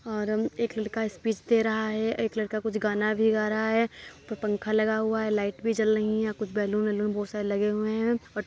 और हम एक लड़का स्पीच दे रहा है एक लड़का कुछ गाना भी गा रहा है ऊपर पंखा लगा हुआ है लाइट भी जल रहीं है और कुछ बैलून वैलून बहुत सारे लगे हुए है। और --